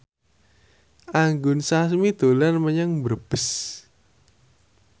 Anggun Sasmi dolan menyang Brebes